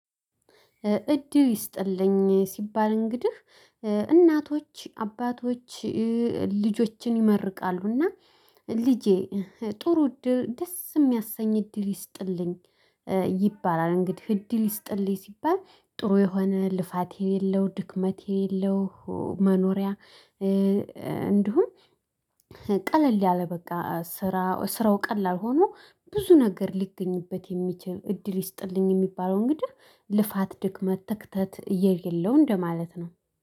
እድል ይስጥልኝ ሲባል እንግዲህ እናቶች አባቶች ልጆችን ይመርቃሉ እና ልጄ ጥሩ እድል ደስ የሚያሰኝ እድል ይስጥልኝ። ይባላል እንግዲህ እድል ይስጥልኝ ሲባል ጥሩ የሆነ ልፋት የሌለው ድክመት የሌለው መኖሪያ። እንዲሁም ቀለል ያለ በቃ ስራ ስራው ቀላል ሆኖ ብዙ ነገር ሊገኝበት የሚችል እድል ይስጥልኝ የሚባለው። እንግዲህ ልፋት ድክመት ትክተት እየሌለው እንደማለት ነው